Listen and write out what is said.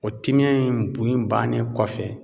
O timiya in bun in bannen kɔfɛ